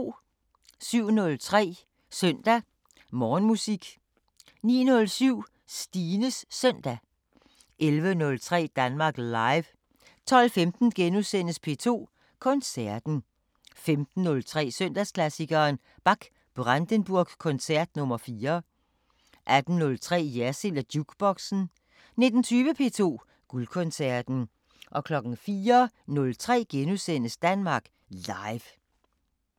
07:03: Søndag Morgenmusik 09:07: Stines Søndag 11:03: Danmark Live 12:15: P2 Koncerten * 15:03: Søndagsklassikeren – Bach: Brandenburg koncert nr. 4 18:03: Jersild & Jukeboxen 19:20: P2 Guldkoncerten 04:03: Danmark Live *